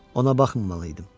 Ona baxmamalıydım.